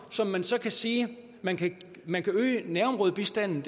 som man så kan sige man kan man kan øge nærområdebistanden